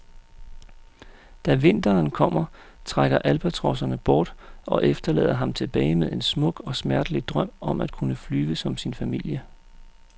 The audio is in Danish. Da vinteren kommer trækker albatroserne bort, og efterlader ham tilbage med en smuk og smertelig drøm om at kunne flyve som sin familie.